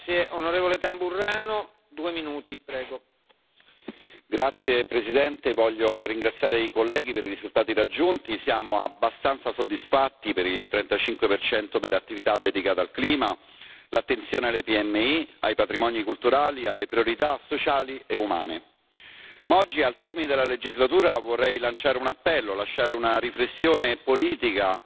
Signor Presidente, onorevoli colleghi, voglio ringraziare i colleghi per i risultati raggiunti. Siamo abbastanza soddisfatti per il 35 delle attività dedicate al clima, l'attenzione alle PMI, ai patrimoni culturali, alle priorità sociali e umane. Ma oggi, al termine della legislatura vorrei lanciare un appello, lasciare una riflessione politica